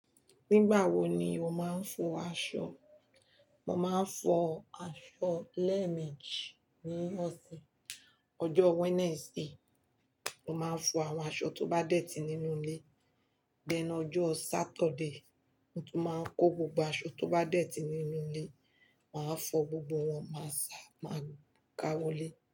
Nígbà wo ni o máa ń fọ aṣọ? Mo máa ń fọ aṣọ lẹ́ẹ̀mejì ní ọ̀sẹ̀. Ọjọ́ Wednesday, mo máa fọ àwọn aṣọ tó bá dẹ́ti nínú ilé, then ọjọ́ Saturday mo tún máa n kó gbogbo aṣọ tó bá dẹ́ti nínú ilé, màá fọ gbogbo wọn, máà sá, máa ka wọlé.